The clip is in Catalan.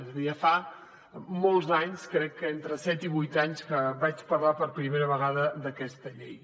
és a dir ja fa molts anys crec que entre set i vuit anys que vaig parlar per primera vegada d’aquesta llei